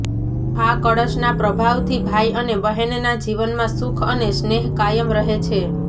આ કળશના પ્રભાવથી ભાઈ અને બહેનના જીવનમાં સુખ અને સ્નેહ કાયમ રહે છે